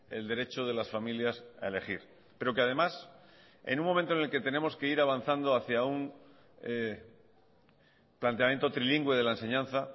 el derecho de las familias a elegir pero que además en un momento en el que tenemos que ir avanzando hacia un planteamiento trilingüe de la enseñanza